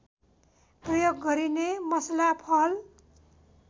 प्रयोग गरिने मसला फल